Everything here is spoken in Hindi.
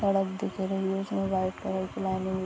सड़क दिख रही है जिसमें व्हाइट कलर की लाइनिंग --